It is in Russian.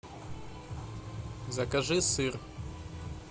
закажи сыр